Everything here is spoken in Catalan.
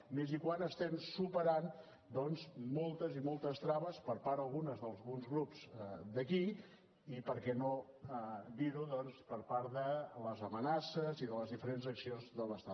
i més quan estem superant doncs moltes i moltes traves per part algunes d’alguns grups d’aquí i per què no dirho doncs per part de les amenaces i de les diferents accions de l’estat